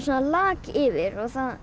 lak yfir